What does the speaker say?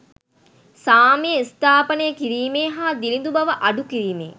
සාමය ස්ථාපානය කිරීමේ හා දිළිඳු බව අඩුකිරීමේ